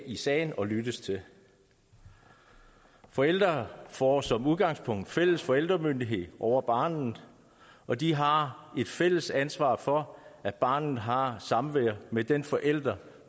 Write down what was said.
i sagen og lyttes til forældre får som udgangspunkt fælles forældremyndighed over barnet og de har et fælles ansvar for at barnet har samvær med den forælder